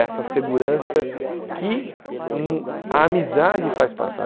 Essa segurança que hum a amizade faz passar.